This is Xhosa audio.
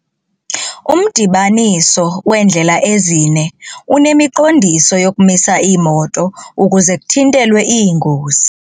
Umdibaniso weendlela ezine unemiqondiso yokumisa iimoto ukuze kuthintelwe iingozi.